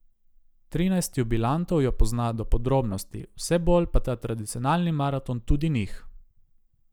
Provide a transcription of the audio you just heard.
Trinajst jubilantov jo pozna do podrobnosti, vse bolj pa ta tradicionalni maraton tudi njih.